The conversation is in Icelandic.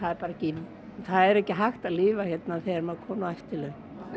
það er ekki hægt að lifa hérna þegar maður kominn á eftirlaun